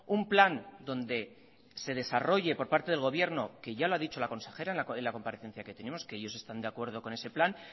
un plan donde se desarrolle por parte del gobierno que ya lo ha dicho la consejera en la comparecencia que tuvimos que ellos están de acuerdo con ese plan